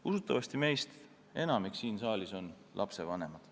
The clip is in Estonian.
Usutavasti on meist enamik siin saalis lapsevanemad.